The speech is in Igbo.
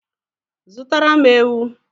Zụtara m ewu